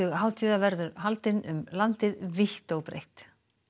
hátíða verður haldinn um landið vítt og breitt